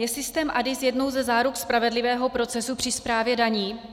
Je systém ADIS jednou ze záruk spravedlivého procesu při správě daní?